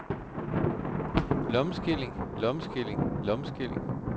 lommeskilling lommeskilling lommeskilling